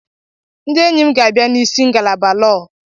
Ndị enyi ga-abịa n'isi ngalaba Lọọ.